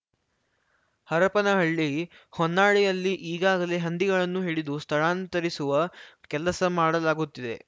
ಹರಪನಹಳ್ಳಿ ಹೊನ್ನಾಳಿಯಲ್ಲಿ ಈಗಾಗಲೇ ಹಂದಿಗಳನ್ನು ಹಿಡಿದು ಸ್ಥಳಾಂತರಿಸುವ ಕೆಲಸ ಮಾಡಲಾಗುತ್ತಿದೆ